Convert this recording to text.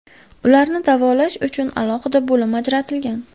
Ularni davolash uchun alohida bo‘lim ajratilgan.